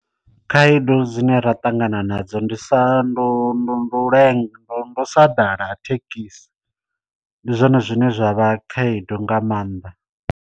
Khaedu dzine ra ṱangana nadzo ndi sa ndu ndu lenga ndu ndu sa ḓala ha thekhisi, ndi zwone zwine zwa vha khaedu nga maanḓa.